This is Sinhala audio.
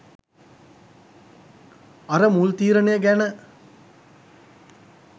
අර මුල් තීරණය ගැන